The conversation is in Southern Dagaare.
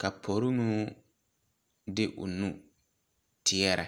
ka porimo de ɔ nu teɛre.